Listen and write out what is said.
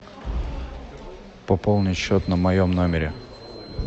пополни счет на моем номере